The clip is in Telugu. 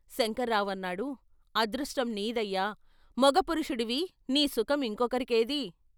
శంకర్రావుఅన్నాడు " అదృష్టం నీదయ్యా ! మగపురుషుడివి, నీ సుఖం ఇంకొకరికేది?